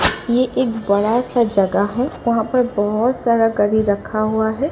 ये एक बड़ा सा जगह है। वहां पर बहोत सारा गाड़ी रखा हुआ है।